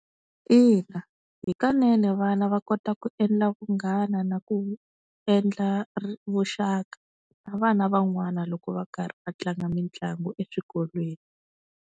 Ina hikanene vana va kota ku endla vunghana na ku endla vuxaka na vana van'wana loko va karhi va tlanga mitlangu eswikolweni.